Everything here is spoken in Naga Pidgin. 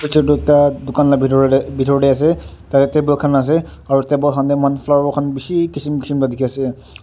picture tu ekta dukan la bidor de bidor de ase ta table kan ase aro table kan de flower kan bishi kishim kishim la diki ase.